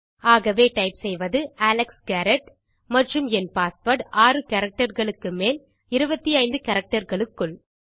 ஆகவே டைப் செய்வது Alex Garrett மற்றும் என் பாஸ்வேர்ட் 6 கேரக்டர்ஸ் க்கு மேல் 25 கேரக்டர்ஸ் க்குள்